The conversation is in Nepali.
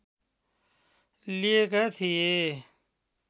लिेएका थिए